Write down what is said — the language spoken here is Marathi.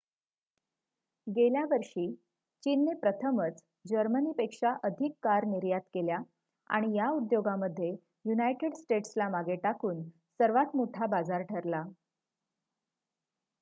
गेल्या वर्षी चीनने प्रथमच जर्मनी पेक्षा अधिक कार निर्यात केल्या आणि या उद्योगामध्ये युनायटेड स्टेट्स ला मागे टाकून सर्वात मोठा बाजार ठरला